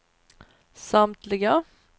samtliga